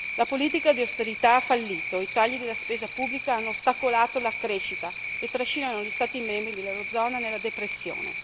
La politica di austerità ha fallito, i tagli della spesa pubblica hanno ostacolato la crescita e trascinano gli Stati membri dell'eurozona nella depressione.